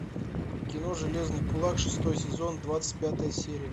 кино железный кулак шестой сезон двадцать пятая серия